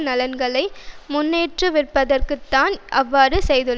நலன்களை முன்னேற்றுவிப்பதற்குத்தான் அவ்வாறு செய்துள்ளன